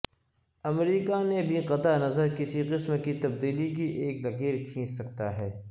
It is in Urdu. امریکہ نے بھی قطع نظر کسی قسم کی تبدیلی کی ایک لکیر کھینچ سکتا ہے